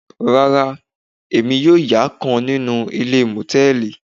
Rárá, emi yóò ya kan ninu ile mòtẹ́ẹ́lì